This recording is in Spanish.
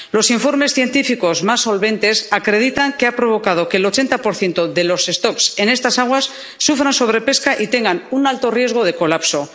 Los informes científicos más solventes acreditan que ha provocado que el 80 de las poblaciones en estas aguas sufran sobrepesca y tengan un alto riesgo de colapso.